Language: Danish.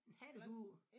En hattehue